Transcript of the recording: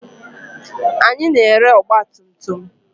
Anyị na-ere ọgba tum tum.